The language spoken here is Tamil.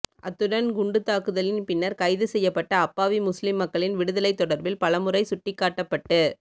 அத்துடன் குண்டுத்தாக்குதலின் பின்னர் கைது செய்யப்பட்ட அப்பாவி முஸ்லிம் மக்களின் விடுதலை தொடர்பில் பலமுறை சுட்டிக்காட்டப்பட்டு